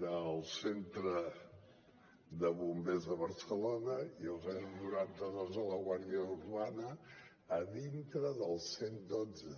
del centre de bombers de barcelona i el noranta dos de la guàrdia urbana dintre del cent i dotze